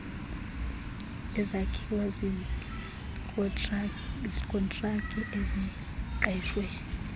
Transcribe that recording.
ezakhiwa ziikontraki eziqeshwe